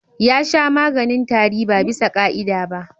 Ya sha maganin tari ba bisa ƙa'ida ba.